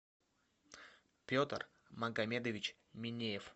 петр магомедович минеев